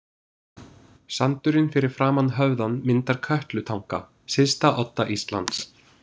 Sandurinn fyrir framan höfðann myndar Kötlutanga, syðsta odda Íslands.